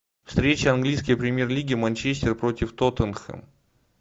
встреча английской премьер лиги манчестер против тоттенхэм